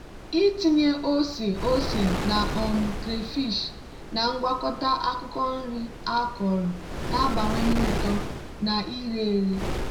ịtinye ose ose na um crayfish na ngwakọta akwukwo nri akọrọ na-abawanye uto na ire ere.